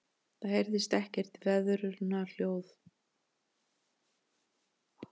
Það heyrist ekkert veðurhljóð.